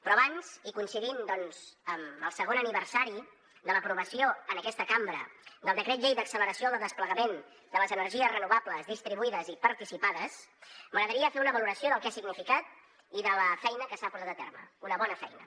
però abans i coincidint doncs amb el segon aniversari de l’aprovació en aquesta cambra del decret llei d’acceleració del desplegament de les energies renovables distribuïdes i participades m’agradaria fer una valoració del que ha significat i de la feina que s’ha portat a terme una bona feina